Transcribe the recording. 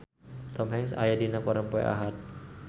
Tom Hanks aya dina koran poe Ahad